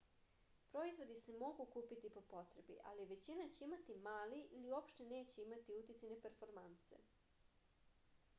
proizvodi se mogu kupiti po potrebi ali većina će imati mali ili uopšte neće imati uticaj na performanse